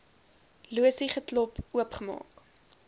losie geklop oopgemaak